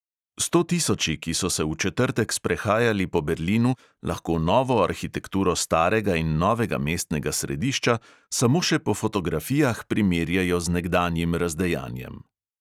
Stotisoči, ki so se v četrtek sprehajali po berlinu, lahko novo arhitekturo starega in novega mestnega središča samo še po fotografijah primerjajo z nekdanjim razdejanjem.